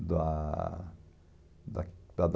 da da da da